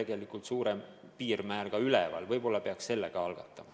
Võiks olla suurem piirmäär ja võib-olla peaks selle muudatuse ka algatama.